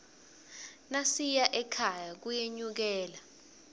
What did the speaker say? nasiya ekhaya kuyenyukela